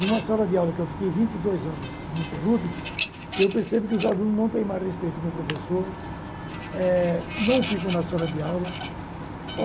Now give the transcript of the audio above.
em uma sala de aula que eu fiquei vinte e dois anos ininterrúbido, eu percebo que os alunos não têm mais respeito com o professor, eh não ficam na sala de aula.